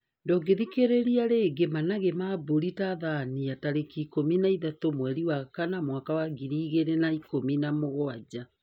Ndungithikiria ringi; Managĩ ma mbũri Tanzania tarikiikumi na ithatu mweri wa kana mwaka wa ngiri igiri na ikumi na mugwanja